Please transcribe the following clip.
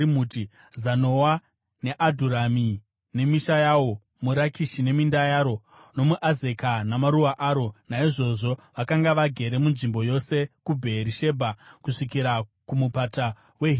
Zanoa, neAdhurami nemisha yawo, muRakishi neminda yaro, nomuAzeka namaruwa aro. Naizvozvo vakanga vagere munzvimbo yose kuBheerishebha kusvikira kuMupata weHinomi.